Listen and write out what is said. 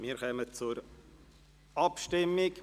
Wir kommen zur Abstimmung.